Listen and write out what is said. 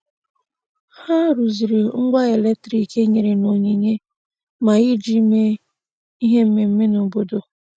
Ha rụziri ngwa eletrik e nyere n'onyinye maka iji mee ihe mmemme n' obodo.